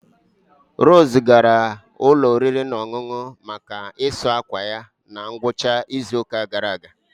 Rose gara ụlọ oriri na ọṅụṅụ maka ịsa akwa ya na ngwụcha izu ụka gara aga